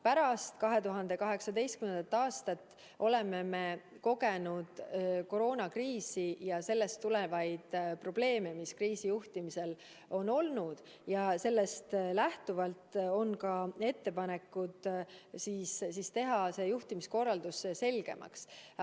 Pärast 2018. aastat oleme me kogenud koroonakriisi ja sellest tulenevaid probleeme, mis kriisi juhtimisel on olnud, ja sellest lähtuvalt on ka ettepanekud teha see juhtimiskorraldus selgemaks.